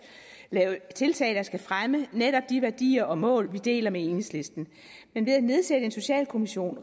lave tiltag der skal fremme netop de værdier og mål vi deler med enhedslisten men ved at nedsætte en socialkommission